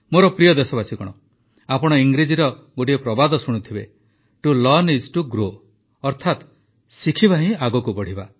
ମୋର ପ୍ରିୟ ଦେଶବାସୀଗଣ ଆପଣ ଇଂରେଜୀର ଗୋଟିଏ ପ୍ରବାଦ ଶୁଣିଥିବେ to learn is to grow ଅର୍ଥାତ ଶିଖିବା ହିଁ ଆଗକୁ ବଢ଼ିବା